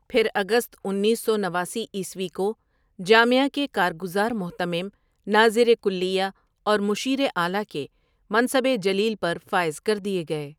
پھر اگست انیس سو نواسی عیسوی کو جامعہ کے کار گزار مہتمم، ناظرِ کلیہ اور مشیر اعلیٰ کے منصب جلیل پر فائز کر دیے گئے ۔